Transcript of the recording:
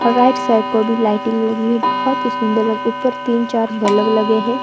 और right side को भी लाइटिंग लगी हुई बहुत ही सुंदर ल ऊपर तीन चार बल्ब लगे हैं।